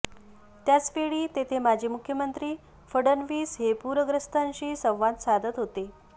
त्याच वेळी तेथे माजी मुख्यमंत्री फडणवीस हे पूरग्रस्तांशी संवाद साधत होते